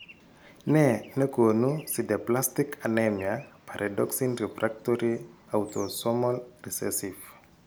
Nee ne koonu sideblastic anemia pyridoxine refactory autosomal recessive?